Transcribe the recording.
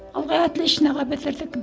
ылғи отличноға бітірдік